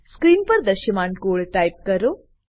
screen પર દ્રશ્યમાન code type કરો